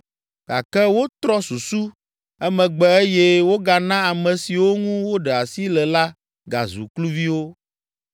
Gake wotrɔ susu emegbe eye wogana ame siwo ŋu woɖe asi le la gazu kluviwo.